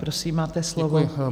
Prosím, máte slovo.